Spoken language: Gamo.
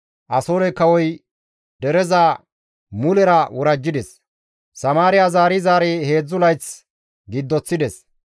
Asoore kawoy dereza mulera worajjides. Samaariya zaari zaari heedzdzu layth giddoththides.